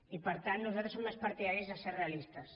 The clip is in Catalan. i per tant nosaltres som més partidaris de ser realistes